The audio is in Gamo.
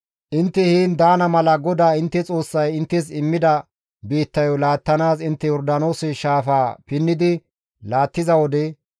Intte heen daana mala GODAA intte Xoossay inttes immida biittayo laattanaas intte Yordaanoose shaafaa pinnidi laattiza wode,